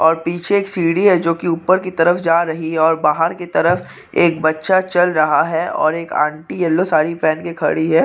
और पीछे एक सीडी है जो की ऊपर की तरफ जा रही है और बाहर की तरफ एक बच्चा चल रहा है और एक आंटी येल्लो साड़ी पेहन के खड़ी है।